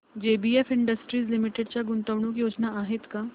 JBF industries limited च्या गुंतवणूक योजना आहेत का